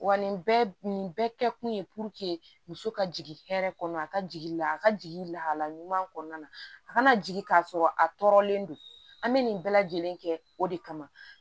Wa nin bɛɛ nin bɛɛ kɛkun ye muso ka jigin hɛrɛ kɔnɔ a ka jigin la a ka jigin lahalaya ɲuman kɔnɔna na a kana jigin ka sɔrɔ a tɔɔrɔlen don an bɛ nin bɛɛ lajɛlen kɛ o de kama